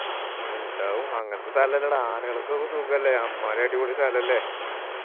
ഇണ്ടാവും അങ്ങനത്തെ സ്ഥല അല്ലേടാ ആനകളൊക്കെ സുഖല്ലേ അമ്മായിരി അടിപൊളി സ്ഥലല്ലേ